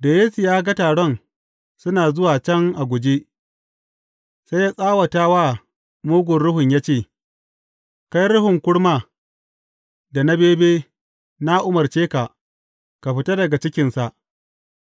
Da Yesu ya ga taron suna zuwa can a guje, sai ya tsawata wa mugun ruhun ya ce, Kai ruhun kurma, da na bebe, na umarce ka, ka fita daga cikinsa,